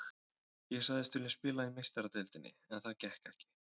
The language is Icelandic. Ég sagðist vilja spila í Meistaradeildinni en það gekk ekki.